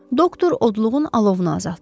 Doktor odluğun alovunu azaltdı.